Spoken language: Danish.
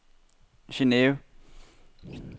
Geneve